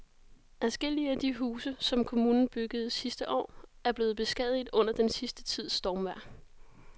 Adskillige af de huse, som kommunen byggede sidste år, er blevet beskadiget under den sidste tids stormvejr.